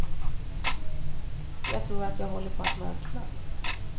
Jag tror att jag håller på att mörkna.